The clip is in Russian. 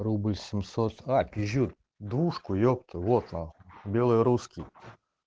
рубль семьсот а пизжу двушку ёпта вот нахуй белый русский